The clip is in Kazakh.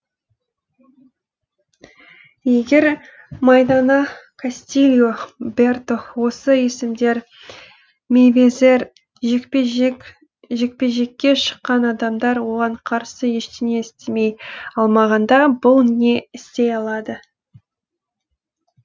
егер майдана кастильо берто осы есімдер мейвезер жекпе жекке шыққан адамдар оған қарсы ештеңе істей алмағанда бұл не істей алады